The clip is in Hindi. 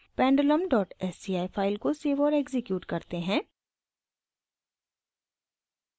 pendulum डॉट sci फाइल को सेव और एक्सिक्यूट करें